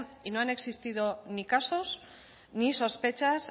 y no han existido ni casos ni sospechas